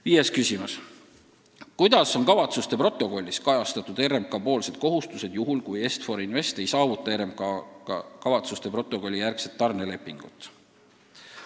Viies küsimus: "Kuidas on kavatsuste protokollis kajastatud RMK poolsed kohustused juhul, kui Est-For Invest ei saavuta RMK-ga kavatsuste protokolli järgset tarnelepingut?